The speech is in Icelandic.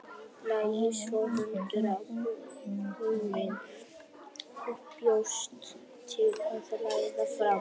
Lagði svo hönd á húninn og bjóst til að læðast fram.